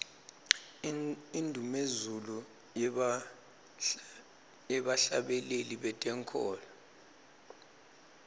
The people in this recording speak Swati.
indumezulu yebahhlabeleli betenkholo